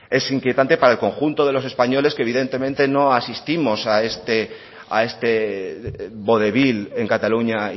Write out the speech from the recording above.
es inquietante para el conjunto de los españoles que evidentemente no asistimos a este vodevil en cataluña